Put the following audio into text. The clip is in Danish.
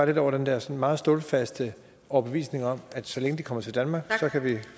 lidt over den der sådan meget stålfaste overbevisning om at så længe de kommer til danmark kan vi